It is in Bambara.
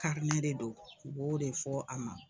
de do o b'o de fɔ a ma.